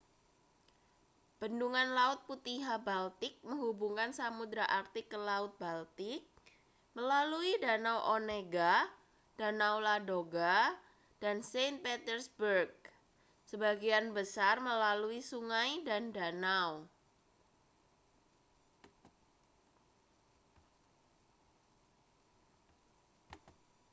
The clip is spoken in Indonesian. bendungan laut putihâ€ baltik menghubungkan samudra arktik ke laut baltik melalui danau onega danau ladoga dan saint petersburg sebagian besar melalui sungai dan danau